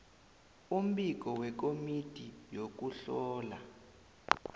umbiko wekomiti yokuhlola